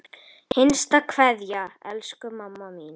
HINSTA KVEÐJA Elsku mamma mín.